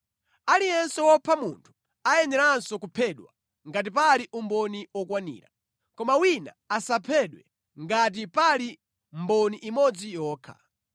“ ‘Aliyense wopha munthu ayeneranso kuphedwa ngati pali umboni okwanira. Koma wina asaphedwe ngati pali mboni imodzi yokha.